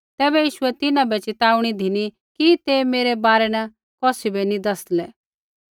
तैबै यीशुऐ तिन्हां बै च़िताऊणी धिनी कि ते मेरै बारै न कौसी बै नी दैसलै